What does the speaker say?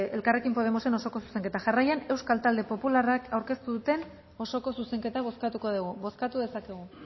elkarrekin podemosen osoko zuzenketa jarraian euskal talde popularrak aurkeztu duen osoko zuzenketa bozkatuko dugu bozkatu dezakegu